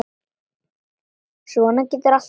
Svona getur allt breyst.